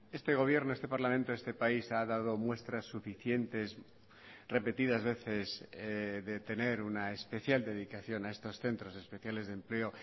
este gobierno este parlamento este país ha dado muestras suficientes repetidas veces de tener una especial dedicación a estos centros especiales de empleo